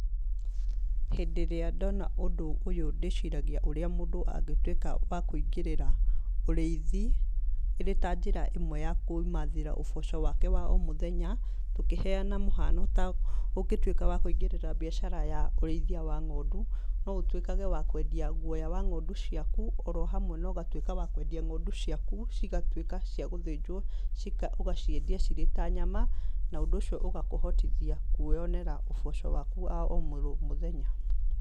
Hĩndĩ ĩrĩa ndona ũndũ ũyũ ndĩciragia ũrĩa mũndũ angĩtuĩka wa kũingĩrĩra ũrĩithi ĩrĩ ta njĩra ĩmwe ya kwĩmathĩra ũboco wake wa ũmuthenya. Tũkĩhenyana mũhano ta ũngĩtuĩka wa kũingĩra biacara ya ũrĩithia wa ng'ondu. No ũtuĩkage wa kwendia guoya wa ng'ondu ciaku oro hamwe na ũgatuika wa kwendagia ng'ondu ciaku cigatuĩka cia gũthĩnjwo ũgaciendia cirĩ ta nyama. Na ũndũ ũcio ũgakũhotithia kwĩyonera ũboco waku wa o mũthenya.